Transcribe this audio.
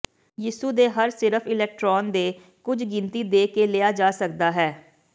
ਯਿਸੂ ਦੇ ਹਰ ਸਿਰਫ ਇਕਟ੍ਰੋਨ ਦੇ ਕੁਝ ਗਿਣਤੀ ਦੇ ਕੇ ਲਿਆ ਜਾ ਸਕਦਾ ਹੈ